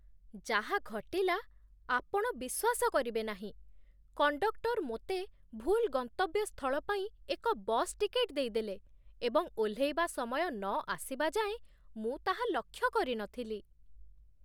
ଯାହା ଘଟିଲା ଆପଣ ବିଶ୍ୱାସ କରିବେ ନାହିଁ! କଣ୍ଡକ୍ଟର ମୋତେ ଭୁଲ୍ ଗନ୍ତବ୍ୟ ସ୍ଥଳ ପାଇଁ ଏକ ବସ୍ ଟିକେଟ୍ ଦେଇଦେଲେ, ଏବଂ ଓହ୍ଲେଇବା ସମୟ ନ ଆସିବା ଯାଏଁ ମୁଁ ତାହା ଲକ୍ଷ୍ୟ କରିନଥିଲି!